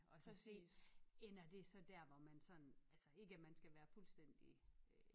Og så se ender det så dér hvor man sådan altså ikke at man skal være fuldstændig øh